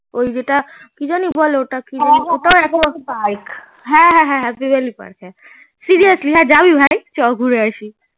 ওই যেটা কি জানি বলে park seriously হে জাবি ভাই চ ঘুরে আসি